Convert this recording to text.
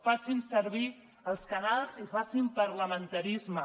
facin servir els canals i facin parlamentarisme